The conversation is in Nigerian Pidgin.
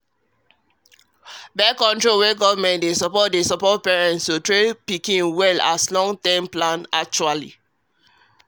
birth-control wey government dey support um dey um support parents to train pikin well as long-term plan actually